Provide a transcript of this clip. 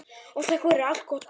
Ég þakka fyrir allt gott.